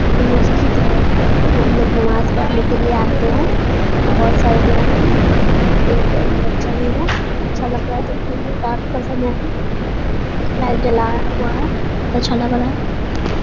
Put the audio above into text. यहाँ महजिद है। यहाँ पे हम लोग नमाज पढ़ने के लिए आते है बोहोत सारे लोग है एक बच्चा भी है। अच्छा लग रहा है देखने में रात का समय है। लाइट जला हुआ है बोहोत अच्छा लग रहा है।